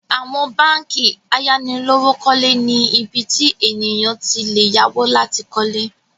Àwọn báńkì ayánilówókọ́lé ni ibi tí ènìyàn ti le yáwó láti kọ́lé